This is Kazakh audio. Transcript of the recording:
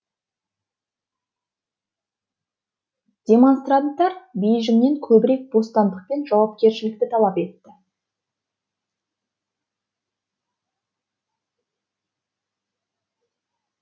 демонстранттар бейжіңнен көбірек бостандық пен жауапкершілікті талап етті